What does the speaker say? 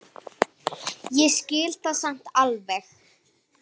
Ég skil það samt alveg.